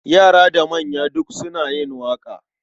Yara da manya duk suna yin waƙa.